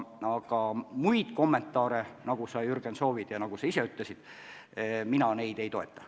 Aga muid kommentaare, nagu sa, Jürgen, soovid ja mida sa ise andsid, mina ei anna.